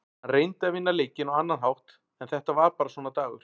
Hann reyndi að vinna leikinn á annan hátt en þetta var bara svona dagur.